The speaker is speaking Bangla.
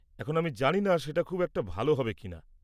এখন, আমি জানি না সেটা খুব একটা ভালো হবে কিনা।